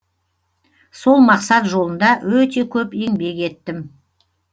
сол мақсат жолында өте көп еңбек еттім